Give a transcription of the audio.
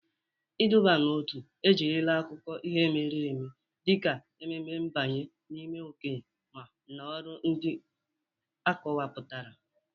Iduba n'otu ejirila akụkọ ihe mere eme dịka emume mbanye n'ime okenye na ọrụ ndị akọwapụtara.